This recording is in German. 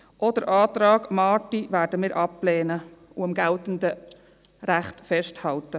Auch den Antrag Marti werden wir ablehnen und am geltenden Recht festhalten.